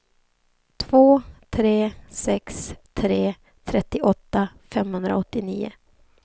två tre sex tre trettioåtta femhundraåttionio